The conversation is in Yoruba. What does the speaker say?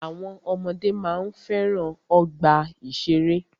Àwọn ọmọdé máa ń fẹ́ràn ọgbà ìṣẹ̀rẹ́.